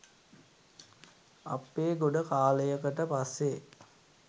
අප්පේ ගොඩකාලයකට පස්සේ